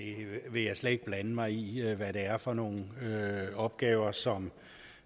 vil slet ikke blande mig i i hvad det er for nogle opgaver som